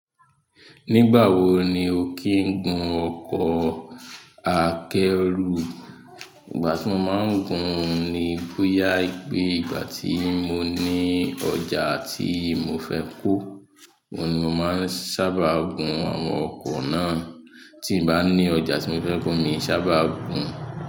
Nígbà wo ni o kí ń gun ọkọ̀ akẹ́rù? Ìgbà tí mo máa ń gun ni bóyá ìgbà tí mo ní ọjà tí mo fẹ́ kó, oun ni mo máa ń sábà gun àwọn ọkọ̀ náà. Tí ǹ bá ní ọjà tí mo fẹ́ kó miì sábà gùn ún.